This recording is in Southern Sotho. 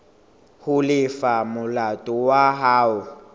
ho lefa molato wa hao